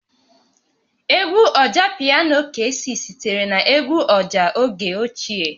Egwu Ọjapiano Kcee sitere na egwu ọjà oge ochie